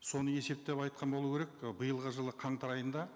соны есептеп айтқан болу керек ы биылғы жылы қаңтар айында